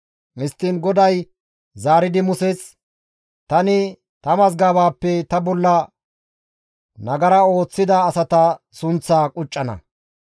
Histtiin GODAY zaaridi Muses, «Tani ta mazgabaappe ta bolla nagara ooththida asata sunththaa quccana.